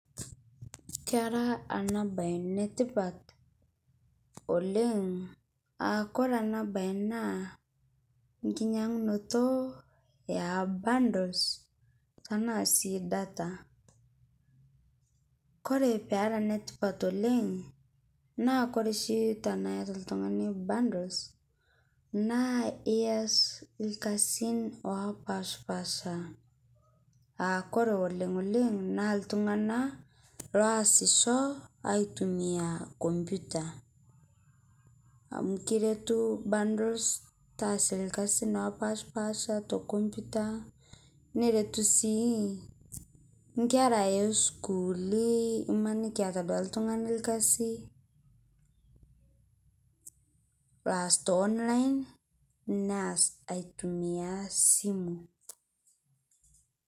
Kera ana bayi netipaat oleng aa kore ana bayi naa nkinyang'unoto e bundles tana sii data. Kore pee era netipaat oleng naa kore shii tana eeta ltung'ani bundles naa eas lkasin opaspasha aa kore oleng' oleng' naa ltung'ani loasisho aitumia kompyuta amu kiretuu bundles taasie lkasin opaspasha to kompyuta neretuu sii nkera e sukuuli imaniiki ieta duake ltung'ani lkasi laas to online neas aitumia simu.